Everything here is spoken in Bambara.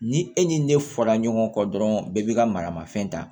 Ni e ni ne fɔra ɲɔgɔn kɔ dɔrɔn bɛɛ b'i ka maramafɛn ta